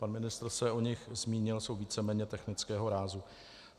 Pan ministr se o nich zmínil, jsou víceméně technického rázu.